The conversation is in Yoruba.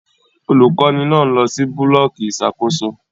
Olukọni náà lọ si bulọọki ìṣàkóso